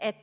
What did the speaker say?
af